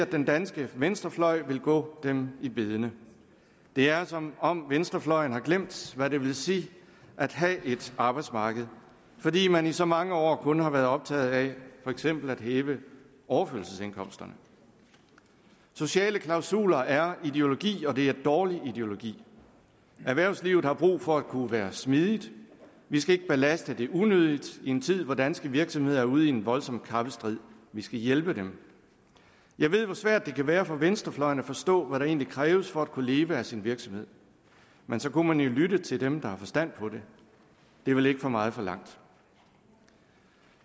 den danske venstrefløj vil gå dem i bedene det er som om venstrefløjen har glemt hvad det vil sige at have et arbejdsmarked fordi man i så mange år kun har været optaget af for eksempel at hæve overførselsindkomsterne sociale klausuler er ideologi og det er dårlig ideologi erhvervslivet har brug for at kunne være smidigt vi skal ikke belaste det unødigt i en tid hvor danske virksomheder er ude i en voldsom kappestrid vi skal hjælpe dem jeg ved hvor svært det kan være for venstrefløjen at forstå hvad der egentlig kræves for at kunne leve af sin virksomhed men så kunne man jo lytte til dem der har forstand på det det er vel ikke for meget forlangt